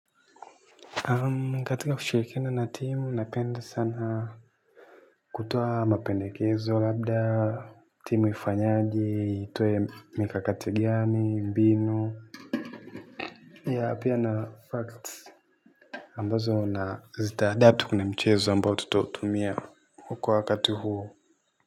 Katika kushirikina na timu napenda sana kutoa mapendekezo labda timu ifanyaje itoe mikakati gani mbinu ya pia na facts ambazo na zitaadapti kwenye mchezo ambao tutotumia huko wakati huo.